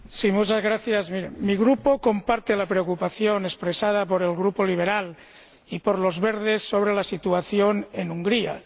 Señor Presidente, mi Grupo comparte la preocupación expresada por el Grupo Liberal y por Los Verdes sobre la situación en Hungría.